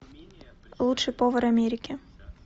лучший повар америки